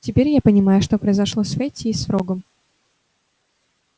теперь я понимаю что произошло с фэтти и с фрогом